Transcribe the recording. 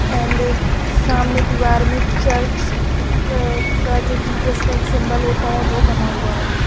And सामने दीवार में चर्च का जो जीसस का एक सिंबल होता है वो बना हुआ है।